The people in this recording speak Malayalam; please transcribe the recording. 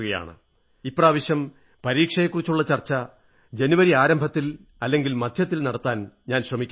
ഇപ്രാവശ്യം പരീക്ഷയെക്കുറിച്ചുള്ള ചർച്ച ജനവരി ആരംഭത്തിൽ അല്ലെങ്കിൽ മധ്യത്തിൽ നടത്താൻ ഞാൻ ശ്രമിക്കുന്നതാണ്